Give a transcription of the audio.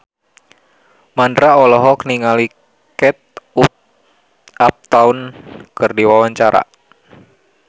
Mandra olohok ningali Kate Upton keur diwawancara